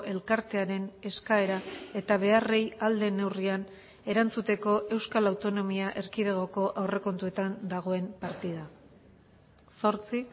elkartearen eskaera eta beharrei ahal den neurrian erantzuteko euskal autonomia erkidegoko aurrekontuetan dagoen partida zortzi